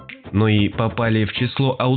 ну и попали в число